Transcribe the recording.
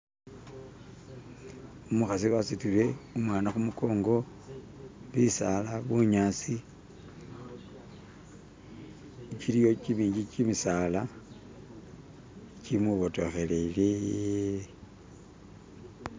Umukhasi wasutile umwana khumukongo bisaala bunyaasi gyiliyo gyimingi gyimisaala gyimwibotokhelele